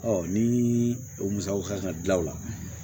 ni o musakaw kan ka dilan o la